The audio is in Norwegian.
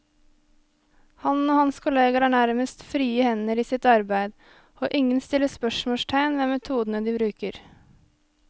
Han og hans kolleger har nærmest frie hender i sitt arbeid, og ingen stiller spørsmålstegn ved metodene de bruker.